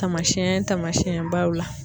Tamasɛn taamasɛnbaw la